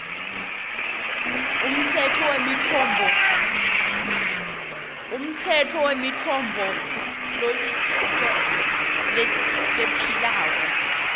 umtsetfo wemitfombolusito lephilako